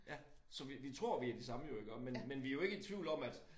Ja så vi tror vi de samme jo iggå men vi jo ikke i tvivl om at